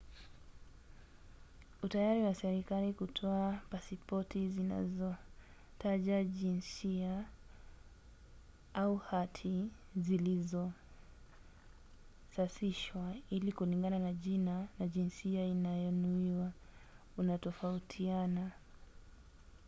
utayari wa serikali kutoa pasipoti zisizotaja jinsia x au hati zilizosasishwa ili kulingana na jina na jinsia inayonuiwa unatofautiana